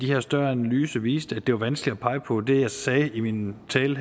her større analyse viste at det var vanskeligt at pege på det jeg sagde i min tale